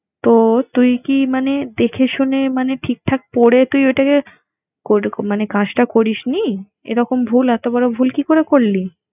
তো তুই কি মানে দেখে শুনে মানে ঠিকঠাক পরে তুই ওইটাকে করুক~ মানে কাজটা করিসনি? এরকম ভুল এতবড় ভুল কি করে করলি?